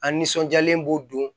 An nisɔndiyalen b'u don